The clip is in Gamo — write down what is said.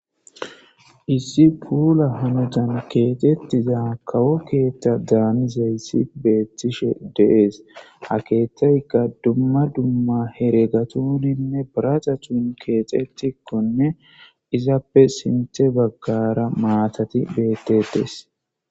Issi puula honotan keetettiza kawo keethta daanizeysi beettishe deees akeetayka dumma dumma here gatuninne baraca thun keexetikkonne izappe sinthe baggara maatati bettetes